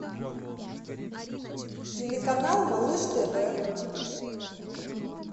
телеканал малыш тв